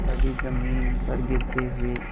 कभी जमीन पर गिरते हुए